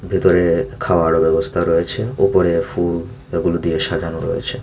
ভেতরে খাওয়ারও ব্যবস্থা রয়েছে ওপরে ফুল এগুলো দিয়ে সাজানো রয়েছে।